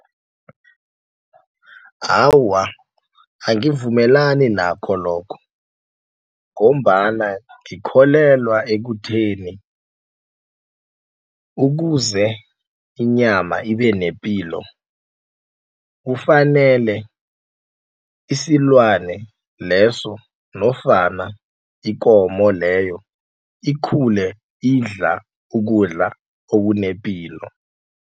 Awa, angivumelani nakho lokho ngombana ngikholelwa ekutheni ukuze inyama ibe nepilo. Kufanele isilwane leso nofana ikomo leyo ikhule idla ukudla okunepilo.